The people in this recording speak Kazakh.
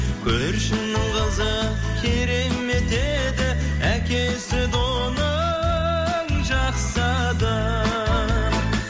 көршінің қызы керемет еді әкесі де оның жақсы адам